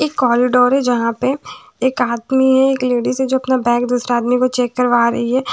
एक कॉरिडोर है जहाँ पे एक आदमी है एक लेडीज है जो अपना बैग दूसरे आदमी को चेक करवा रही है।